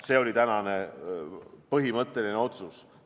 See oli tänane põhimõtteline otsus.